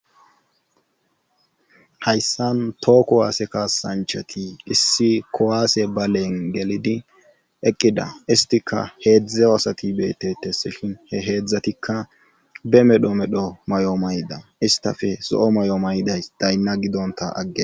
Hayssan too kowaase kasanchati issi kowaase baleen gelidi eqqida istika heedzdze aasati beetetes shin he heedzdzatikka be medho medho may'o mayda istafe zo'o may'o mayday daynna gidonta agge.